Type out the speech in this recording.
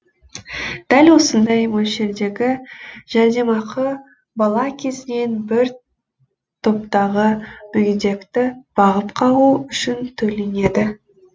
дәл осындай мөлшердегі жәрдемақы бала кезінен бір топтағы мүгедекті бағып қағу үшін төленеді